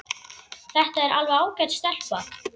Þetta er alveg ágæt stelpa.